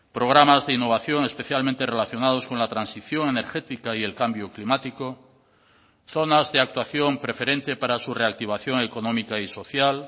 programas de innovación especialmente relacionados con la transición energética y el cambio climático zonas de actuación preferente para su reactivación económica y social